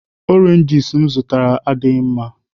Oranges m zụtara adịghị mma.